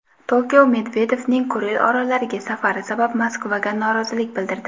Tokio Medvedevning Kuril orollariga safari sabab Moskvaga norozilik bildirdi.